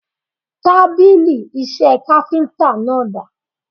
Tábìlì iṣẹ́ káfíntà náà dà?